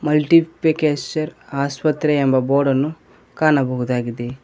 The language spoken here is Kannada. ಮಟ್ಲಿಫಿಕೇಶರ್ ಆಸ್ಪತ್ರೆ ಎಂಬ ಬೋರ್ಡನ್ನು ಕಾಣಬಹುದಾಗಿದೆ.